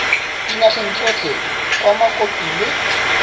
dinageng tsotlhe kwa mokopi le